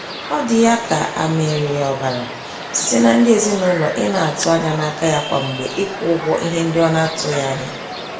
Ọ dị ya ka a mịrị ya ọbara, site na ndị ezinaụlọ, ị na-atụ anya n'aka ya kwa mgbe ịkwụ ụgwọ ihe ndị ọ na-atụghị anya.